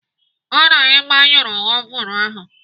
Hụụ na Ị gbanyụrụ ovun ahụ.